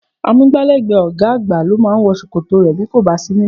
Amúgbálẹ́gbẹ̀ẹ́ ọ̀gá àgbà ló máa wọ ṣòkòtò rẹ bí kò sí níllé